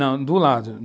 Não, do lado.